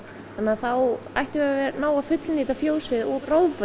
þá ættum við að ná að fullnýta fjósið og